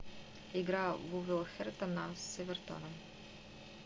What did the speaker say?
игра вулверхэмптона с эвертоном